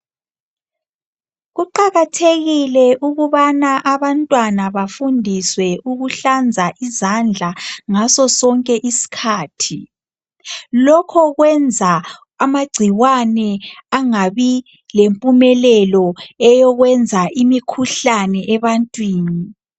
Kuqakathekile ukubana abantwana bafundiswe ukuhlanza izandla ngasosonke isikhathi. Lokhu kwenza amagcikwane angabi lempumelelo eyokwenza imikhuhlane ebantwini.